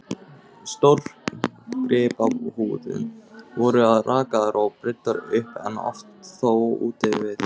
Bessastaðahreppi, en aðrir hlutar höfuðborgarsvæðisins fá vatn sitt úr lághitasvæðum í